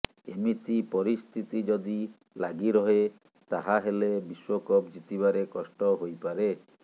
ଏମିତି ପରିସ୍ତିତି ଯଦି ଲାଗିରହେ ତାହାହେଲେ ବିଶ୍ୱକପ ଜିତିବାରେ କଷ୍ଟ ହୋଇପାରେ